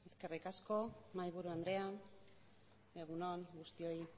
eskerrik asko mahaiburu andrea egun on guztioi